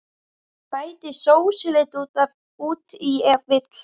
Bætið sósulit út í ef vill.